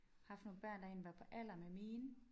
Haft nogle børn der egentlig var på alder med mine